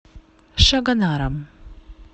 шагонаром